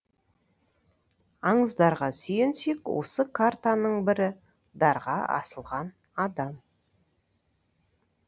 аңыздарға сүйенсек осы картаның бірі дарға асылған адам